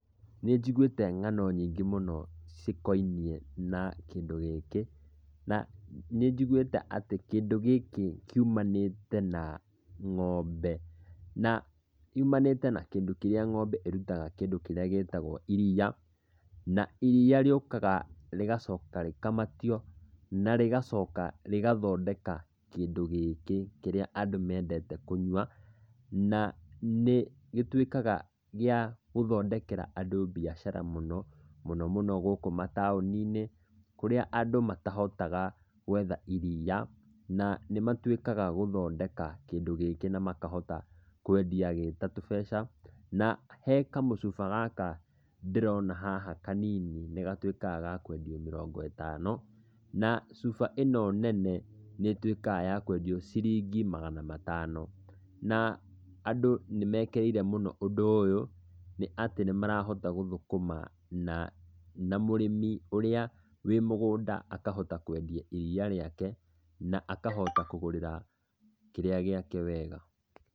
Nĩ njiguĩte ng'ano nyingĩ mũno cikoniĩ na kĩndũ gĩkĩ, na nĩ njiguĩte atĩ kĩndũ gĩkĩ kiumanĩte na ng'ombe. Na yumanĩte na kĩndũ kĩrĩa ng'ombe ĩrutaga kĩndũ kĩrĩa gĩtagwo iriia, na iriia rĩũkaga rĩgacoka rĩkamatio, na rĩgacoka rĩgathondeka kĩndũ gĩkĩ kĩrĩa andũ mendete kũnyua, na nĩ gĩtuĩkaga gĩa gũthondekera andũ biacara mũno, mũno mũno gũkũ mataũni-inĩ kũrĩa andũ matahotaga gwetha iriia, na nĩmatuĩkaga gũthondeka kĩndũ gĩkĩ na makahota kwendi gĩta tũmbeca. Na he kamũcuba gaka ndĩrona haha kanini nĩ gatuĩkaga ga kwendio mĩrongo ĩtano, na cuba ĩno nene nĩĩtuĩkaga ya kwendio ciringi magana matano. Na andũ nĩ mekĩrĩire mũno ũndũ ũyũ nĩ atĩ nĩ marahota gũthũkũma na na mũrĩmi ũrĩa wĩ mũgũnda akahota kwendia iriia rĩake, na akahota kũgũrĩra kĩrĩa gĩake wega.